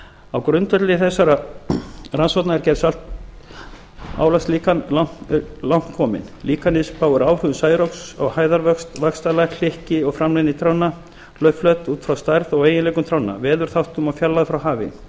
á grundvelli þessara rannsókna er gerð saltálagslíkans langt komin líkanið spáir áhrifum særoks á hæðarvöxt vaxtarlag og framleiðni trjánna út frá stærð og eiginleikum trjánna veðurþáttum og fjarlægð frá hafi